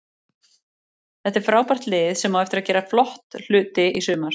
Þetta er frábært lið sem á eftir að gera flott hluti í sumar.